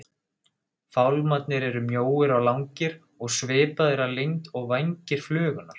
Fálmararnir eru mjóir og langir og svipaðir að lengd og vængir flugunnar.